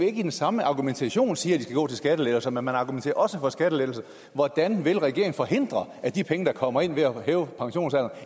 ikke i den samme argumentation siger at de skal gå til skattelettelser men man argumenterer også for skattelettelser hvordan vil regeringen forhindre at de penge der kommer ind ved at hæve pensionsalderen